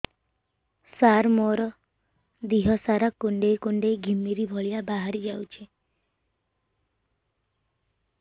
ସାର ମୋର ଦିହ ସାରା କୁଣ୍ଡେଇ କୁଣ୍ଡେଇ ଘିମିରି ଭଳିଆ ବାହାରି ଯାଉଛି